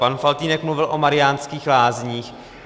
Pan Faltýnek mluvil o Mariánských Lázních.